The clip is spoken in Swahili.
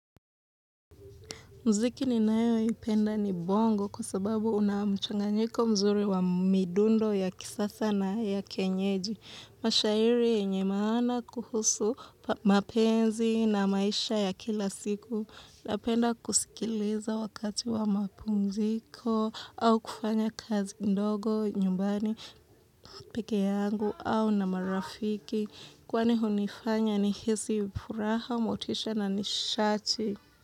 Mziki ninayo ipenda ni bongo kwa sababu unamchanganyiko mzuri wa midundo ya kisasa na ya kienyeji. Mashairi yenye maana kuhusu mapenzi na maisha ya kila siku. Napenda kusikileza wakati wa mapungziko au kufanya kazi ndogo, nyumbani, pekee yangu au na marafiki. Kwani hunifanya ni hisi furaha, motisha na nishati.